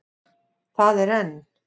Það er enn.